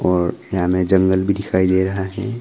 और यहां में जंगल भी दिखाई दे रहा है।